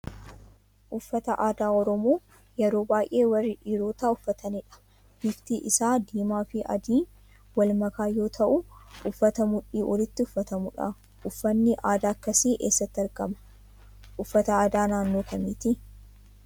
Uffata aadaa Oromoo, yeroo baay'ee warri dhiirotaa uufatanidha. Bifti isaa diimaa fi adiiin wal makaa yoo ta'u, uffata mudhii olitti uffatamudha. Uffatni aadaa akkasii eessatti argama. Uffata aadaa naannoo kamiiti?